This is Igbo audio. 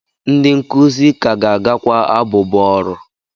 Ndị nkuzi ka ga-agakwa abụbọ ọrụ?